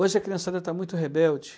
Hoje a criançada está muito rebelde.